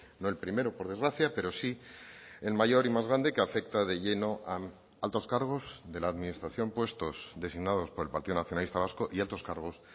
no el primero por desgracia pero sí el mayor y más grande que afecta de lleno a altos cargos de la administración puestos designados por el partido nacionalista vasco y altos cargos